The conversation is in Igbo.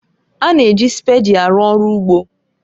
A na-eji spèdi arụ ọrụ ugbo